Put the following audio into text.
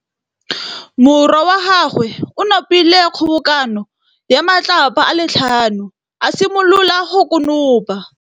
Morwa wa gagwe o nopile kgobokanô ya matlapa a le tlhano, a simolola go konopa.